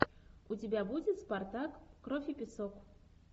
у тебя будет спартак кровь и песок